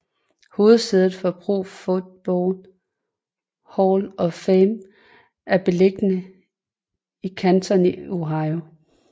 Hovedsædet for Pro Football Hall of Fame er beliggende i Canton i Ohio